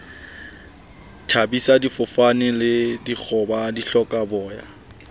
thabisa difofane le dikgoba dihlokaboya